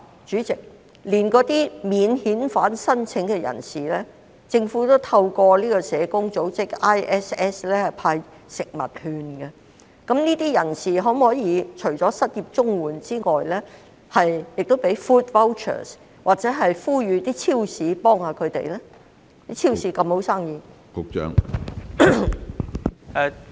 主席，即使是免遣返聲請人士，政府也會透過香港國際社會服務社向他們派發食物券，當局可否同樣向領取失業綜援的人派發食物券或呼籲超市幫助他們？